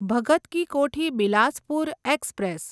Bhagat Ki Kothi Bilaspur express